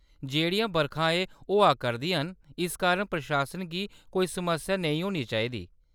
जेह्‌ड़ियां बरखां एह् होआ करदियां न, इस कारण प्रशासन गी कोई समस्या नेईं होनी चाहिदी।